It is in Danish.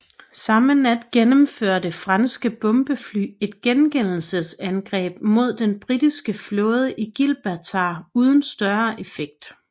Samme nat gennemførte franske bombefly et gengældelsesangreb mod den britiske flåde i Gibraltar uden større effekt